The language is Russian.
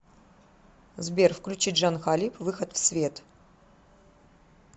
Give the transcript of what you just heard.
сбер включи джан халиб выход в свет